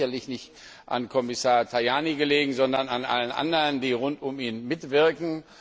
Das hat sicherlich nicht an Kommissar Tajani gelegen, sondern an allen anderen, die rund um ihn mitwirken.